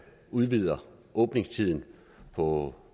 udvider åbningstiden på